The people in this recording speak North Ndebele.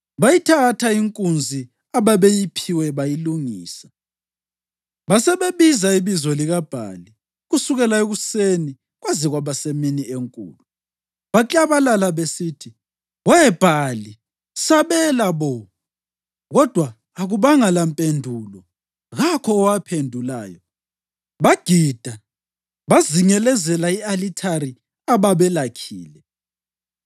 Bayithatha inkunzi ababeyiphiwe bayilungisa. Basebebiza ibizo likaBhali kusukela ekuseni kwaze kwaba semini enkulu. Baklabalala besithi, “We Bhali, sabela bo!” Kodwa akubanga lampendulo; kakho owaphendulayo. Bagida bezingelezela i-alithari ababelakhile.